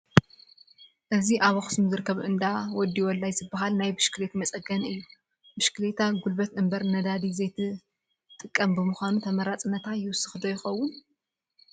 እዚ ኣብ ኣኽሱም ዝርከብ እንዳ ወዲ ወላይ ዝበሃል ናይ ብሽክሌታ መፀገኒ እዩ፡፡ ብሽክሌታ ጉልበት እምበር ነዳዲ ዘይትጥቀም ብምዃኑ ተመራፅነታ ይውስኽ ዶ ይኾን?